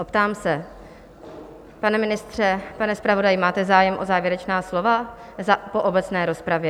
Optám se: pane ministře, pane zpravodaji, máte zájem o závěrečná slova po obecné rozpravě?